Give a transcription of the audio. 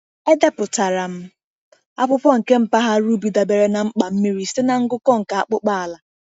Edepụtara m akwụkwọ nke mpaghara ubi dabere na mkpa mmiri site na ngụkọ nke akpụkpọ ala.